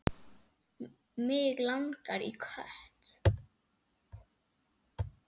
Mig langaði í kött.